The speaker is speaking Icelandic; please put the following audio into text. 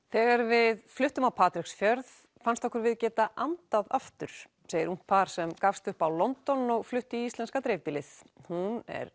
þegar við fluttum á Patreksfjörð fannst okkur við geta andað aftur segir ungt par sem gafst upp á London og flutti í íslenska dreifbýlið hún er